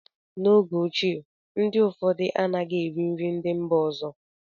n'oge ochie, ndị ụfọdụ anaghị eri nri ndị mba ọzọ